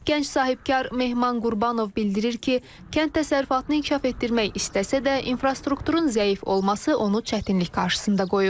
Gənc sahibkar Mehman Qurbanov bildirir ki, kənd təsərrüfatını inkişaf etdirmək istəsə də, infrastrukturun zəif olması onu çətinlik qarşısında qoyub.